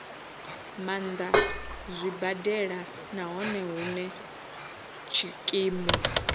maanḓa zwibadela nahone hune tshikimu